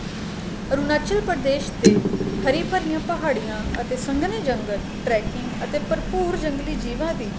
ਅਰੂਣਾਚਲ ਪ੍ਰਦੇਸ਼ ਦੇ ਹਰੀ ਭਰੀਆਂ ਪਹਾੜੀਆਂ ਅਤੇ ਸੰਗਣੇ ਜੰਗਲ tracking ਅਤੇ ਭਰਪੂਰ ਜੰਗਲੀ ਜੀਵਾਂ ਦੀ